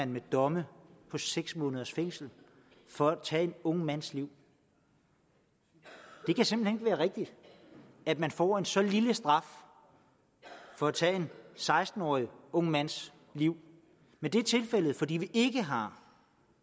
med domme på seks måneders fængsel for at tage en ung mands liv det kan simpelt være rigtigt at man får en så lille straf for at tage en seksten årig ung mands liv men det er tilfældet fordi vi ikke har